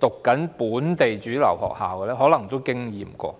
唸本地主流學校的家庭，也可能經歷過。